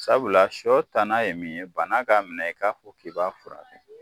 Sabula sɔ tana ye mun ye, bana k'a minɛ, i k'a fɔ k'i b'a furakɛ.